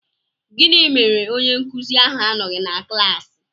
Gịnị mere onye nkụzi ahụ anọghị na klaasị?